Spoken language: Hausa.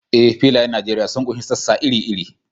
Eh, filayen Nijeriya sun ƙunshi sassa iri-iri.